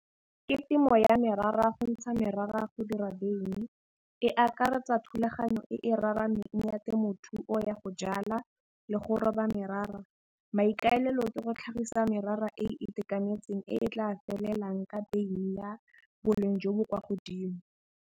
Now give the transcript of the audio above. Ke temo ya merara go ntsha merara go dira veini, e akaretsa thulaganyo e e raraneng ya temothuo ya go jala le go roba merara. Maikaelelo ke go tlhagisa merara e e itekanetseng e tla felelang ka veini ya boleng jo bo kwa godimo.